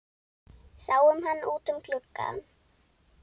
Sáum hann út um glugga.